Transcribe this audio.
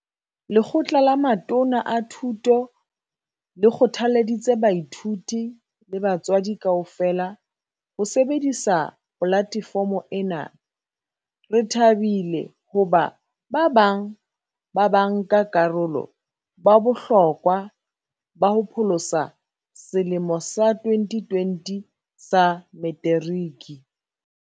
Lekgotla la Matona a Thuto le kgothalleditse baithuti le batswadi kaofela ho sebedisa polatefomo ena. "Re thabile hoba ba bang ba banka karolo ba bohlokwa ba ho pholosa selemo sa 2020 sa Meteriki."